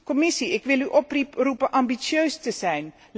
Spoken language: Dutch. Commissie, ik wil u oproepen ambitieus te zijn.